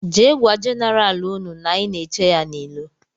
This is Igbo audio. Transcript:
Jee gwa jeneral ụnụ na anyị na -eche ya n' ilo.